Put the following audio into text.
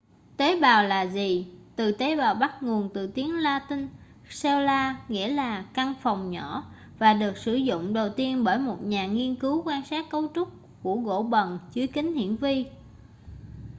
tế bào là gì từ tế bào bắt nguồn từ tiếng la-tinh cella nghĩa là căn phòng nhỏ và được sử dụng đầu tiên bởi một nhà nghiên cứu quan sát cấu trúc của gỗ bần dưới kính hiển vi